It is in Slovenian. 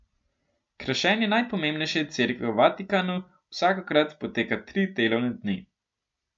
Krašenje najpomembnejše cerkve v Vatikanu vsakokrat poteka tri delovne dni.